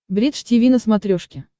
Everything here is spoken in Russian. бридж тиви на смотрешке